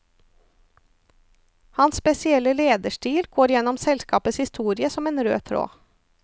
Hans spesielle lederstil går gjennom selskapets historie som en rød tråd.